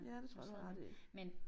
Ja det tror jeg du har ret i